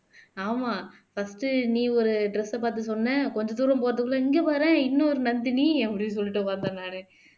ஆமா first நீ ஒரு dress அ பார்த்து சொன்ன கொஞ்ச தூரம் போறதுக்குள்ள இங்க பாரேன் இன்னொரு நந்தினி அப்படின்னு சொல்லிட்டு பார்த்தேன் நானு